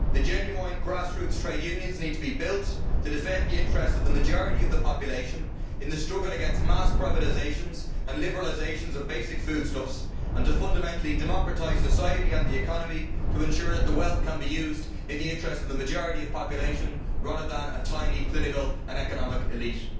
The genuine grass roots trade unions need to be built to defend the interests of the majority of the population in the struggle against mass privatisations and liberalisations of basic foodstuffs and to fundamentally democratise society and the economy to ensure that the wealth can be used in the interests of the majority of the population rather than a tiny political and economic elite.